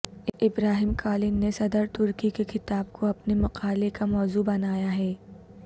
ابراہیم Kalin نے صدر ترکی کے خطاب کو اپنے مقالے کا موضوع بنایا ہے